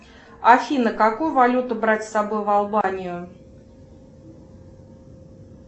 афина какую валюту брать с собой в албанию